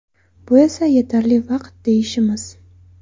Bu esa yetarli vaqt deyishimiz.